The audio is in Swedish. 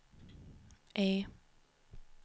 E